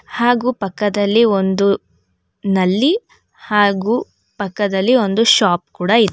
ಹಾಗೂ ಪಕ್ಕದಲ್ಲಿ ಒಂದು ನಲ್ಲಿ ಹಾಗೂ ಪಕ್ಕದಲ್ಲಿ ಒಂದು ಶಾಪ್ ಕೂಡ ಇದೆ.